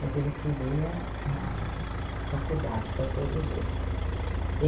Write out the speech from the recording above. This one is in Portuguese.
Mas ele queria a faculdade para todos eles.